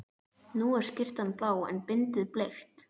Nú er skyrtan blá en bindið bleikt.